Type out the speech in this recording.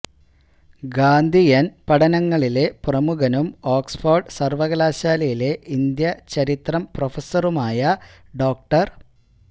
ഗാന്ധിയന് പഠനങ്ങളിലെ പ്രമുഖനും ഓക്സ്ഫഡ് സര്വകലാശാലയിലെ ഇന്ത്യ ചരിത്രം പ്രഫസറുമായ ഡോ